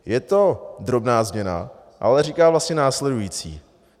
Je to drobná změna, ale říká vlastně následující.